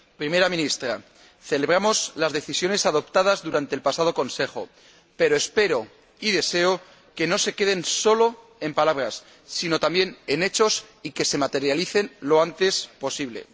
Primera Ministra, celebramos las decisiones adoptadas durante el pasado Consejo, pero espero y deseo que no se queden solo en palabras, sino que se conviertan también en hechos y se materialicen lo antes posible.